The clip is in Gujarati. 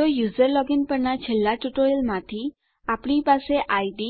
તો યુઝર લોગિન પરના છેલ્લા ટ્યુટોરીયલમાંથી આપણી પાસે ઇડ